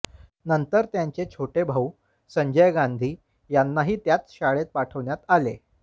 नंतर त्यांचे छोटे भाऊ संजय गांधी यांनाही त्याच शाळेत पाठवण्यात आले